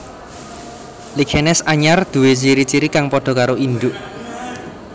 Lichenes anyar nduwé ciri ciri kang padha karo induk